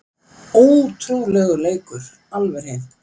Ótrúlegur leikur alveg hreint